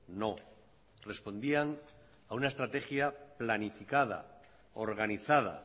no respondían a una estrategia planificada organizada